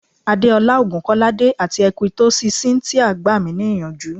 Adeola Ogunkolade ati Ekwytosi Cynthia gba mi ni iyanju